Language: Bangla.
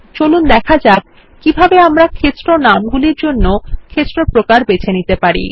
চলুন দেখা যাক কিভাবে আমরা ক্ষেত্র নামগুলির জন্য ক্ষেত্র প্রকার বেছে নিতে পারি